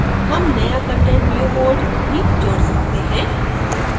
हम नया content view mode भी mode सकते हैं